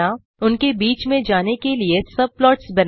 उनके बीच में जाने लिए सबप्लॉट्स बनाएँ